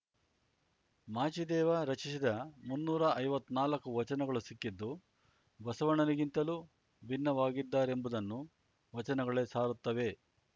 ಮಾಚಿದೇವ ರಚಿಸಿದ ಮುನ್ನೂರ ಐವತ್ ನಾಲ್ಕು ವಚನಗಳು ಸಿಕ್ಕಿದ್ದು ಬಸವಣ್ಣನಿಗಿಂತಲೂ ಭಿನ್ನವಾಗಿದ್ದರೆಂಬುದನ್ನು ವಚನಗಳೇ ಸಾರುತ್ತವೆ